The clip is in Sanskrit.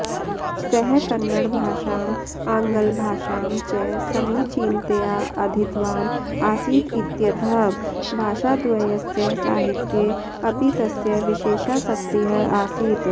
सः कन्नडभाषाम् आङ्ग्लभाषां च समीचीनतया अधीतवान् आसीत् इत्यतः भाषाद्वयस्य साहित्ये अपि तस्य विशेषासक्तिः आसीत्